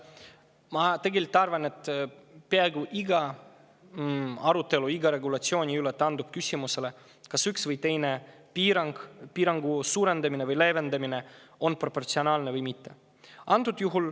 Ma tegelikult arvan, et peaaegu iga arutelu iga regulatsiooni üle taandub küsimusele, kas üks või teine piirangu või leevendamine on proportsionaalne või mitte.